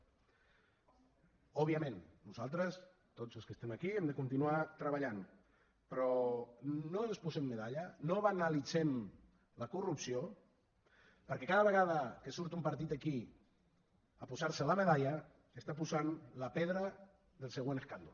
òbviament nosaltres tots els que estem aquí hem de continuar treballant però no ens posem medalla no banalitzem la corrupció perquè cada vegada que surt un partit aquí a posar se la medalla està posant la pedra del següent escàndol